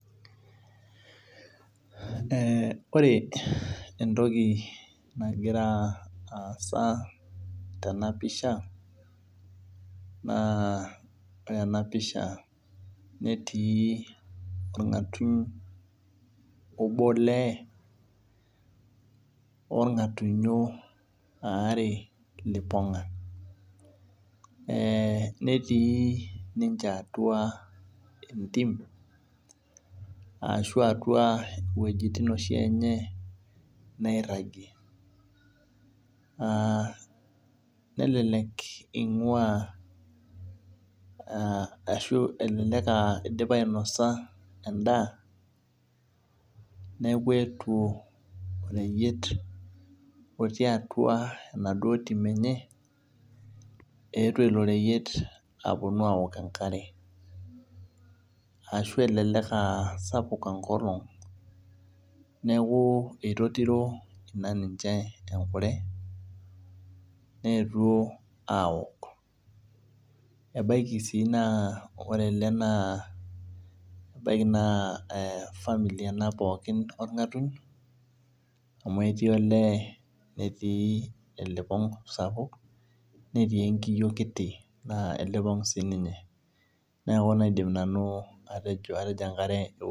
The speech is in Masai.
Ee ore entoki nagira aasa tenapisha na ore enapisha netiiborngatuny obo olee orngatunyo aare liponga netii ninche atua entim ashu atua wuejitin enye nairagie aa nelelek ingua ashu idipa ainosa endaa neaku eetuo oreyiet otii atubenaduo tim enye eetuo ilo reyiet aponu aaok enkare ashu elelek aa sapuk enkare neaku etotiro ninche enkure neetuo aaok ebaki si ore ele na family ena orngatuny amu etii olee netiibelipong sapuk netii enkiyo kiti na elipong sininye neaku kaidim nanu atejo enkare.